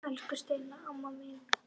Elsku Steina amma mín.